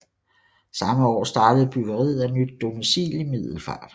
Samme år startede byggeriet af nyt domicil i Middelfart